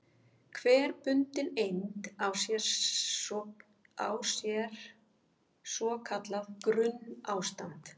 Hver bundin eind á sér svo kallað grunnástand.